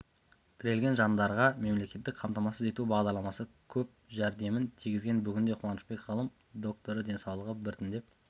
тірелген жандарға мемлекеттік қамтамасыз ету бағдарламасы көп жәрдемін тигізген бүгінде қуанышбек ғылым докторы денсаулығы біртіндеп